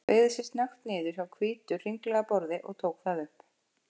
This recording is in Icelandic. Beygði sig snöggt niður hjá hvítu, hringlaga borði og tók það upp.